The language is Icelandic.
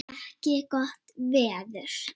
ekki gott veður.